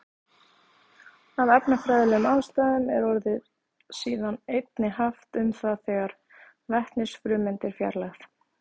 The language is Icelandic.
Af efnafræðilegum ástæðum er orðið síðan einnig haft um það þegar vetnisfrumeind er fjarlægð.